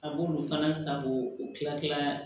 A b'olu fana san k'o kila kila